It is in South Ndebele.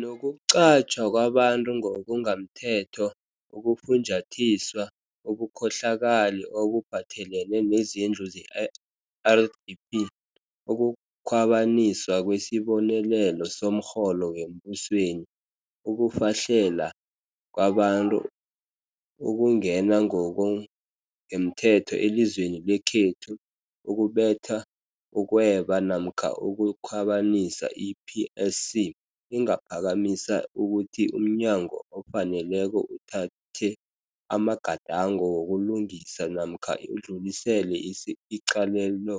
nokuqatjhwa kwabantu ngokungamthetho, ukufunjathiswa, ubukhohlakali obuphathelene nezindlu ze-RDP, ukukhwabaniswa kwesibonelelo somrholo wembusweni, ukufahlela kwabantu, ukungena ngo kungemthetho elizweni lekhethu, ukubetha, ukweba namkha ukukhwabanisa, i-PSC ingaphakamisa ukuthi umnyango ofaneleko uthathe amagadango wokulungisa namkha udlulisele icalelo